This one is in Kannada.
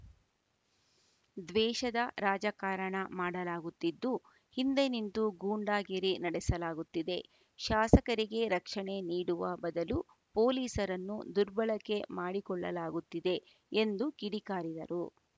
ದ್ವೇಷದ ರಾಜಕಾರಣ ಮಾಡಲಾಗುತ್ತಿದ್ದು ಹಿಂದೆ ನಿಂತು ಗೂಂಡಾಗಿರಿ ನಡೆಸಲಾಗುತ್ತಿದೆ ಶಾಸಕರಿಗೆ ರಕ್ಷಣೆ ನೀಡುವ ಬದಲು ಪೊಲೀಸರನ್ನು ದುರ್ಬಳಕೆ ಮಾಡಿಕೊಳ್ಳಲಾಗುತ್ತಿದೆ ಎಂದು ಕಿಡಿಕಾರಿದರು